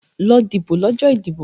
Lọ dìbò lọ́jọ́ ìdìbò!